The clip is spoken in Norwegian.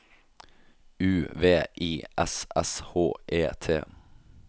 U V I S S H E T